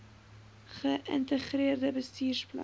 ge ïntegreerde bestuursplan